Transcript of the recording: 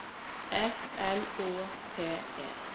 F L Å T E